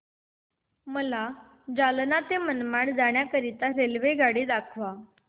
मला जालना ते मनमाड जाण्याकरीता रेल्वेगाडी दाखवा